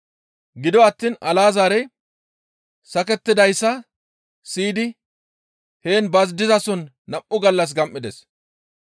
Gido attiin Alazaarey sakettidayssa siyidi heen ba dizason nam7u gallas gam7ides.